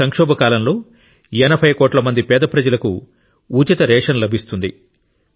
ఈ సంక్షోభ కాలంలో 80 కోట్ల మంది పేద ప్రజలకు ఉచిత రేషన్ లభిస్తుంది